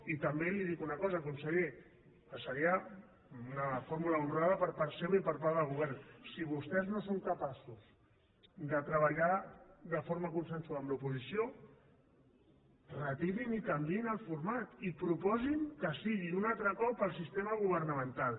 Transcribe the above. i també li dic una cosa conseller que seria una fórmula honrada per part seva i per part del govern si vostès no són capaços de treballar de forma consensuada amb l’oposició retirin i canviïn el format i proposin que sigui un altre cop el sistema governamental